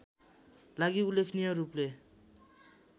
लागि उल्लेखनीय रूपले